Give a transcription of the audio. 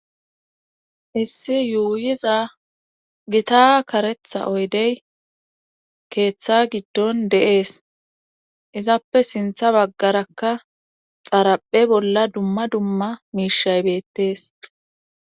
issi yuuyiza gita karetha oydey keeththa giddon deees izappe sintha baggarakka xaraphe bolla dumma dumma miishaybettees